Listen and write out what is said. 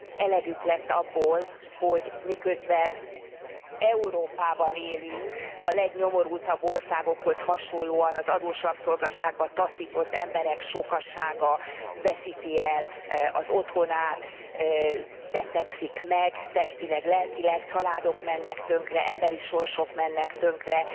Elegük lett abból, hogy miközben Európában élünk, a legnyomorultabb országokhoz hasonlóan az adós rabszolgaságba taszított emberek sokasága veszíti el az otthonát, betegszik meg testileg lelkileg, családok mennek tönkre, emberi sorsok mennek tönkre.